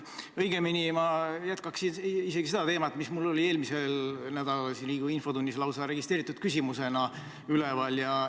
Õigemini, ma jätkan seda teemat, mis mul oli eelmisel nädalal Riigikogu infotunnis lausa registreeritud küsimusena üleval.